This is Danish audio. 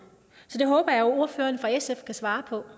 så det håber jeg ordføreren for sf kan svare på